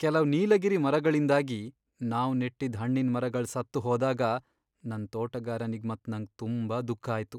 ಕೆಲವ್ ನೀಲಗಿರಿ ಮರಗಳಿಂದಾಗಿ ನಾವ್ ನೆಟ್ಟಿದ್ ಹಣ್ಣಿನ್ ಮರಗಳ್ ಸತ್ತುಹೋದಾಗ ನನ್ ತೋಟಗಾರನಿಗ್ ಮತ್ ನಂಗ್ ತುಂಬಾ ದುಃಖ ಆಯ್ತು.